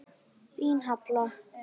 Þín, Halla.